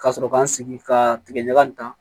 Ka sɔrɔ ka n sigi ka tigɛ ɲaga in kan